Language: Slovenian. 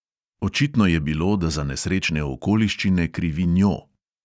Očitno je bilo, da za nesrečne okoliščine krivi njo.